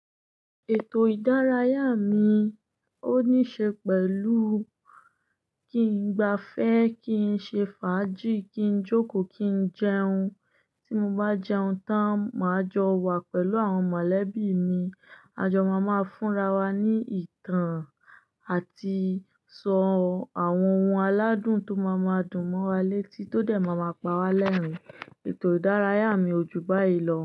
Ètò ìdárayá mi ó níí ṣe pẹ̀lú kí n gba fẹ́, kí n ṣe fàájì, kí n jókòó, kí n jẹun. Tí mo bá jẹun tán, máa jọ wa pẹ̀lú àwọn mọ̀lẹ́bí mi. A jọ máa má fúnra wa ní ìtàn àti sọ àwọn ohùn aládùn tó máa máa dùn mọ́ wa létí tó de máa máa pa wá lẹ́rìn-ín. Ètò ìdárayá mi ojú báyìí lọ.